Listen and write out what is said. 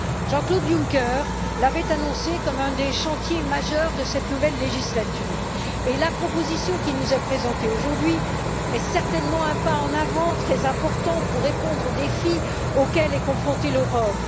Jean Claude Juncker l'avait annoncée comme un des chantiers majeurs de cette nouvelle législature, et la proposition qui nous est présentée aujourd'hui constitue certainement un pas en avant très important pour répondre aux défis auxquels est confrontée l'Europe.